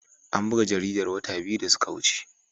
An buga jaridar wata biyu da suka wuce.